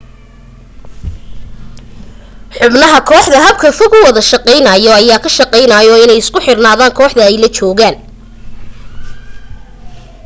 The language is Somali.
xubnaha kooxda habka fog u wada shaqaynaayo ayaa ka shaqaayo inay isu xiraan kooxda ay la joogaan